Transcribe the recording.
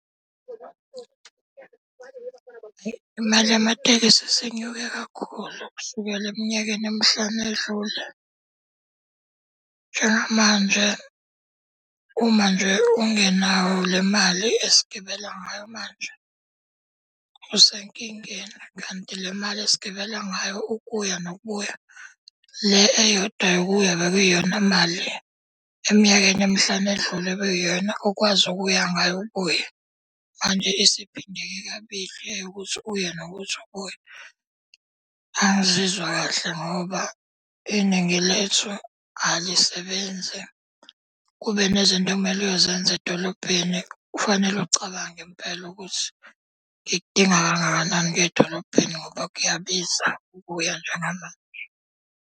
Imali yamatekisi isinyuke kakhulu kusukela eminyakeni emihlanu eyedlule. Njengamanje uma nje ungenayo le mali esigibela ngayo manje usenkingeni. Kanti le mali esigibela ngayo ukuya nokubuya, le eyodwa yokuya bekuyiyona mali eminyakeni emihlanu edlule okuyiyona okwazi ukuya ngayo ubuye. Manje isiphindeke kabili eyokuthi uye nokuthi ubuye. Angizizwa kahle ngoba iningi lethu alisebenzi. Kube nezinto ekumele uyozenza edolobheni, kufanele ucabange impela ukuthi, ngikudinga kangakanani ukuya edolobheni ngoba kuyabiza ukuya njengamanje.